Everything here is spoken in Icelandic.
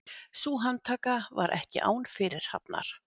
Sú handtaka var ekki án fyrirhafnar